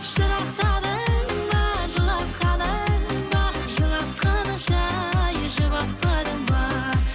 жырақтадың ба жылатқаның ба жылатқаныңша жұбатпадың ба